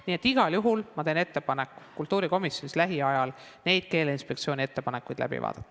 Nii et igal juhul teen ma ettepaneku kultuurikomisjonis lähiajal need Keeleinspektsiooni ettepanekud läbi vaadata.